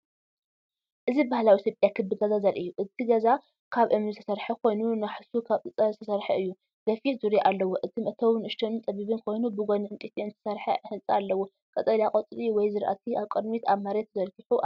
እዚ ባህላዊ ኢትዮጵያዊ ክቢ ገዛ ዘርኢ እዩ። እቲ ገዛ ካብ እምኒ ዝተሰርሐ ኮይኑ፡ናሕሱ ካብ ጸጸር ዝተሰርሐ ኮይኑ፣ ገፊሕ ዙርያ ኣለዎ። እቲ መእተዊ ንእሽቶን ጸቢብን ኮይኑ፡ብጎኒ ዕንጨይቲ ዝተሰርሐ ህንጻ ኣለዎ። ቀጠልያ ቆጽሊ ወይ ዝራእቲ ኣብ ቅድሚት ኣብ መሬት ተዘርጊሑ ኣሎ።